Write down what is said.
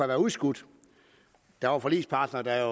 været udskudt der var forligspartnere der